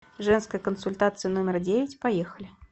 женская консультация номер девять поехали